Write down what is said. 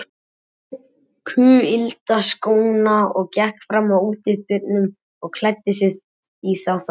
Hann tók kuyldaskóna og gekk fram að útidyrunum og klæddi sig í þá þar.